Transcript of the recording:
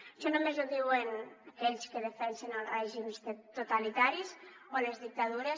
això només ho diuen aquells que defensen els règims totalitaris o les dictadures